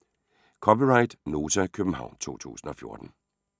(c) Nota, København 2014